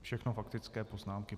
Všechno faktické poznámky.